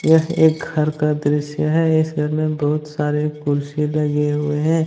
यह एक घर का दृश्य है इस घर में बहुत सारे कुर्सी लगे हुए हैं।